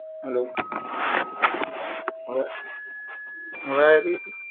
hello અવે અવે